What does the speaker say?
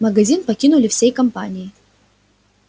магазин покинули всей компанией